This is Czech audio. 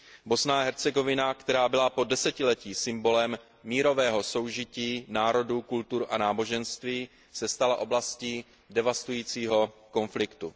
Bosna a Hercegovina, která byla po desetiletí symbolem mírového soužití národů, kultur a náboženství, se stala oblastí devastujícího konfliktu.